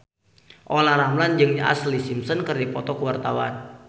Olla Ramlan jeung Ashlee Simpson keur dipoto ku wartawan